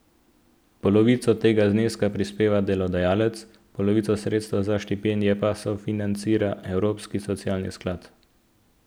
Polovico tega zneska prispeva delodajalec, polovico sredstev za štipendije pa sofinancira Evropski socialni sklad.